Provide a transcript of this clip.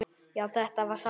Já, þetta var sárt.